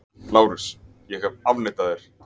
LÁRUS: Ég hef afneitað þér!